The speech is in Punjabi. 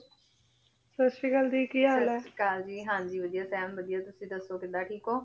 ਸਾਸਰੀਕਾਲ ਦੀ ਕੀ ਹਾਲ ਆਯ ਸਾਸਰੀਕਾ ਜੀ ਹਾਂਜੀ ਵਾਦਿਯ ਟੀਮੇ ਵਾਦਿਯ ਤੁਸੀਂ ਦਸੋ ਕਿਦਾਂ ਠੀਕ ਹੋ